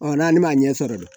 n'ale m'a ɲɛ sɔrɔ dɛ